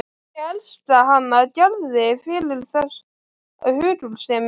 Ég elska hana Gerði fyrir þessa hugulsemi.